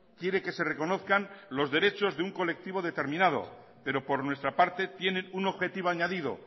quiere que se reconozcan los derechos de un colectivo determinado pero por nuestra parte tienen un objetivo añadido